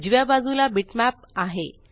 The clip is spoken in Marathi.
उजव्या बाजूला बिटमॅप आहे